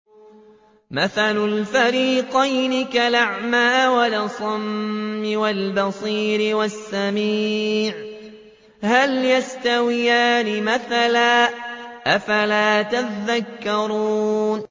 ۞ مَثَلُ الْفَرِيقَيْنِ كَالْأَعْمَىٰ وَالْأَصَمِّ وَالْبَصِيرِ وَالسَّمِيعِ ۚ هَلْ يَسْتَوِيَانِ مَثَلًا ۚ أَفَلَا تَذَكَّرُونَ